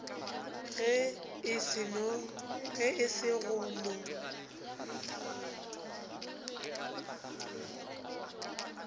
ge e se go no